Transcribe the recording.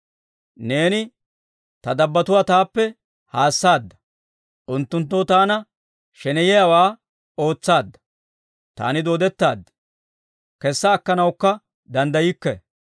Neeni ta dabbotuwaa taappe haassaadda; unttunttoo taana sheneyiyaawaa ootsaadda. Taani dooddettaad; kessa akkanawukka danddaykke.